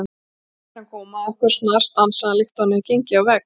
Þegar hann kom að okkur snarstansaði hann líkt og hann hefði gengið á vegg.